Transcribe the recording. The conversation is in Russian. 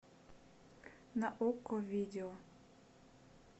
на окко видео